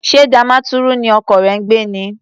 Ṣé Damaturu ni ọkọ rẹ ń gbé ni?